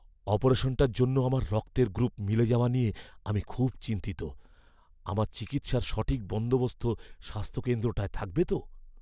অপারেশনটার জন্য আমার রক্তের গ্রুপ মিলে যাওয়া নিয়ে আমি খুব চিন্তিত। আমার চিকিৎসার সঠিক বন্দোবস্ত স্বাস্থ্যকেন্দ্রটায় থাকবে তো?